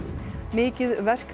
mikið verk